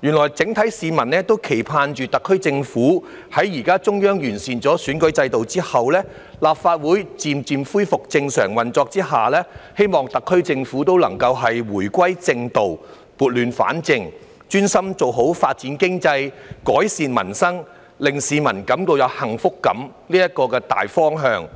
原來市民普遍期盼，在現時中央完善選舉制度之後，立法會漸漸恢復正常運作之下，特區政府也能夠回歸正道，撥亂反正，專心朝着發展經濟、改善民生、令市民有幸福感這個大方向